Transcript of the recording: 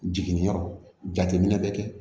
Jiginniyɔrɔ jateminɛ bɛ kɛ